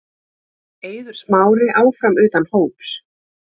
Eiður Smári áfram utan hóps